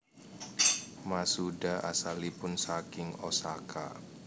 Masuda asalipun saking Osaka